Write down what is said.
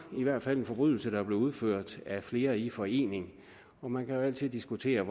i hvert fald en forbrydelse der blev udført af flere i forening man kan jo altid diskutere